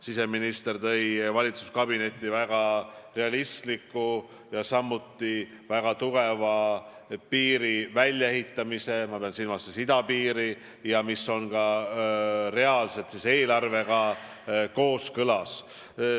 Siseminister tõi valitsuskabinetti väga realistliku ja samuti väga tugeva idapiiri väljaehitamise plaani, mis on ka eelarvega kooskõlas.